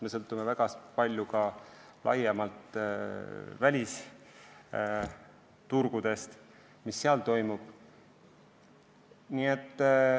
Me sõltume väga palju ka välisturgudest laiemalt, sellest, mis seal toimub.